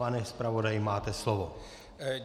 Pane zpravodaji, máte slovo.